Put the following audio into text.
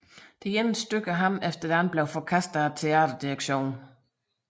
Det ene stykke af ham efter det andet blev forkastet af theaterdirektionen